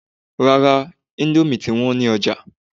Rárá, íńdómì ti wọ́n ní ọjà